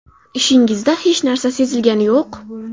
Ishingizda hech narsa sezilgani yo‘q.